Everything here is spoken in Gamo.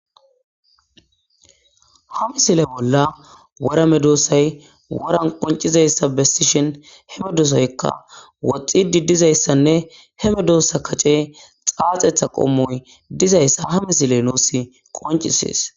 ha misile bolla wora medoossay waran qoncizayssa bessishin he medoosoykka woxxidi dizayssanne he medoossa kace xaaxetha qommoy dizayssa ha misile nuusi qoncisees